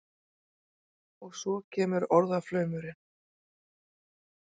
Og svo kemur orðaflaumurinn.